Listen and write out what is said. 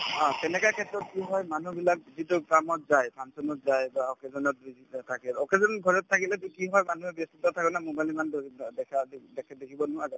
অ, তেনেকুৱা ক্ষেত্ৰত কি হয় মানুহবিলাক যিটো কামত যায় function ত যায় বা occasion ত জড়িত থাকে occasion ত ঘৰত থাকিলেতো কি হয় মানুহে ব্যস্ততাত থাকে না mobile ইমান দেখা দিবদেখি দেখিব নোৱাৰে